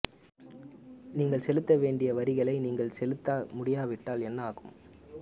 நீங்கள் செலுத்த வேண்டிய வரிகளை நீங்கள் செலுத்த முடியாவிட்டால் என்ன ஆகும்